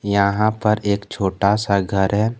यहां पर एक छोटा सा घर है।